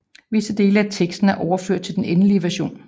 Visse dele af teksten er overført til den endelige version